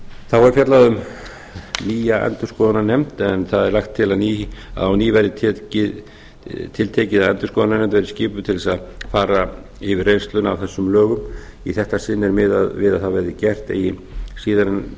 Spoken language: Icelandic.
þá er fjallað um nýja endurskoðunarnefnd en það er lagt til að á ný verði tiltekið að endurskoðunarnefnd verði skipuð til að fara yfir reynsluna af þessum lögum í þetta sinn er miðað við að það verði gert eigi síðan en